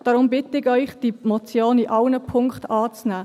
Deshalb bitte ich Sie, die Motion in allen Punkten anzunehmen.